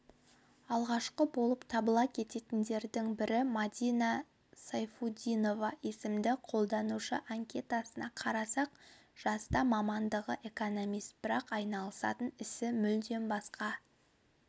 алғашқы болып табыла кеткендердің бірі мадина сайфудинова есімді қолданушы анкетасына қарасақ жаста мамандығы экономист бірақ айналысатын ісі мүлдем басқа